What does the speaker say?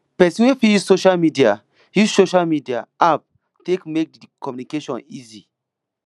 person fit use social media use social media app take make di communication easy